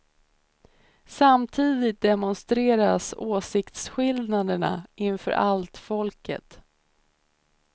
Samtidigt demonstreras åsiktsskillnaderna inför allt folket.